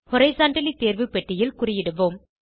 horizontally தேர்வு பெட்டியில் குறியிடுவோம்